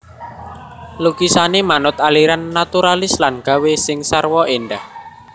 Lukisané manut aliran naturalis lan gawé sing sarwa éndah